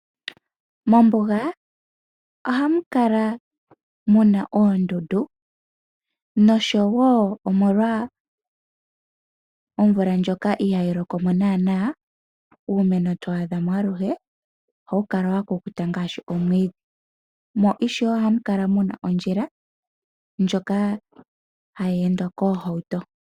Mombuga ohamu kala mu na oondundu noshowo molwa omvula ndjoka ohayi loko mo naanaa, uumeno to adha mo aluhwe ohawu kala wa kukuta ngaashi omwiidhi. Ohamu kala wo mu na ondjila ndjoka hayi endwa koohauto.